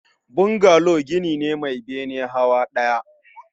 Bungalow gini ne Mai bene hawa ɗaya